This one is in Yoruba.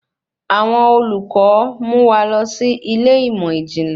Àwọn olùkọ mu wa lọ sí ilé ìmọ ijinlẹ